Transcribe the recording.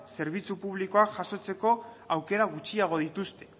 zerbitzu publikoak jasotzeko aukera gutxiago dituzte